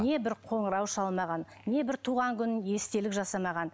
не бір қоңырау шалмаған не бір туған күн естелік жасамаған